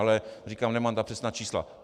Ale říkám, že nemám přesná čísla.